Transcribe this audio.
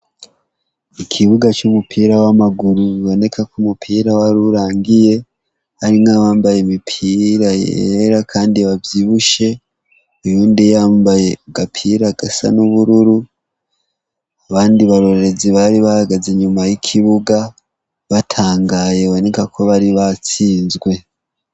Ikibuga cy'umupira kiriko kiberak' inkino zitandukanye har' abanyeshure bamwe barikurorer' umupira abandi bahagaze bariguter'inkuru, hari n'uwundi yambay' agapira k' icatsi kibis' akenyey' umupira wirabur' arikurab' umupir' aryohewe cane, hakikujw' ibiti vyinshi hasi har' ivyatsi bitoya biringaniye.